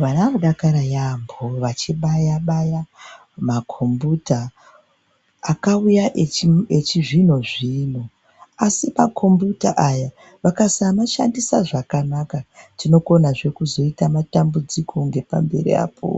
Vana vanodakara yaamho vachibaya baya makombiyuta akauya echizvino zvino asi makombiyuta aya vakasamashandisa zvakanaka tinokonazve kuzoita matambudziko ngepamberi apo